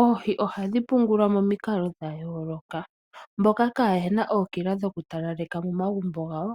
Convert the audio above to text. Oohi ohadhi pungulwa momikalo dha yooloka. Mboka kayena ookila dhokutalaleka momagumbo gawo,